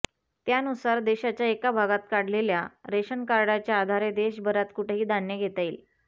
त्यानुसार देशाच्या एका भागात काढलेल्या रेशन कार्डाच्या आधारे देशभरात कुठंही धान्य घेता येईल